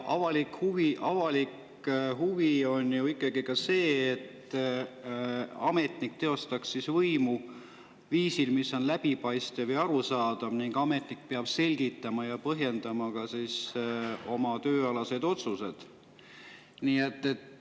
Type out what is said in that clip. Ja avalik huvi on ju ka see, et ametnik teostaks võimu viisil, mis on läbipaistev ja arusaadav, ning ametnik peab selgitama ja põhjendama oma tööalaseid otsuseid.